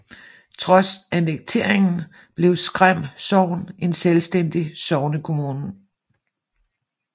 Trods annekteringen blev Skræm Sogn en selvstændig sognekommune